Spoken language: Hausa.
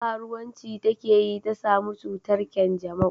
Karuwanci ta ke yi ta samu cutar kyanjamau